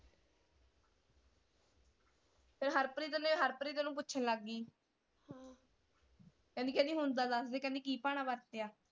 ਹਰਪ੍ਰੀਤ ਨੇ ਹਰਪ੍ਰੀਤ ਨੂੰ ਪੁੱਛਣ ਲੱਗ ਗੀ ਕਹਿੰਦੀ ਕਹਿੰਦੀ ਹੁਣ ਤਾਂ ਦਸਦੇ ਕਹਿੰਦੀ ਕੀ ਭਾਣਾ ਵਰਤਿਆ।